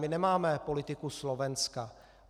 My nemáme politiku Slovenska.